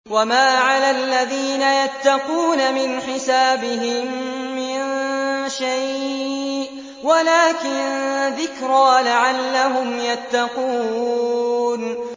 وَمَا عَلَى الَّذِينَ يَتَّقُونَ مِنْ حِسَابِهِم مِّن شَيْءٍ وَلَٰكِن ذِكْرَىٰ لَعَلَّهُمْ يَتَّقُونَ